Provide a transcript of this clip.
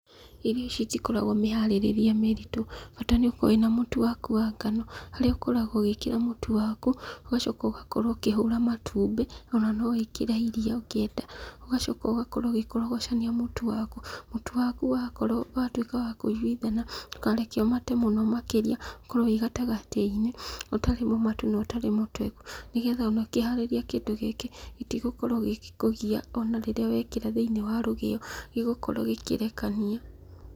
Irio ici itikoragwo mĩharĩrĩrie mĩritũ, bata nĩũkorwo wĩna mũtu waku wa ngano, harĩa ũkoragwo ũgĩkĩra mũtu waku, ũgacoka ũgakorwo ũkĩhũra matumbĩ, ona nowĩkĩre iria ũngĩenda. Ũgacoka ũgakorwo ũgĩkorogocania mũtu waku. Mũtu waku watuĩka wakũiguithana, ndũkareke ũmate mũno makĩria, ũkorwo wĩgatagatĩ-inĩ, ũtarĩ mũmatu na ũtarĩ mũtweku, nĩgetha ona ũkĩharĩria kĩndũ gĩkĩ, gĩtigũkorwo gĩgĩkũgia ona rĩrĩa wekĩra thĩinĩ wa rũgĩo, gĩgũkorwo gĩkĩrekania.